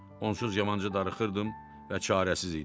Onsuz yamancı darıxırdım və çarəsiz idim.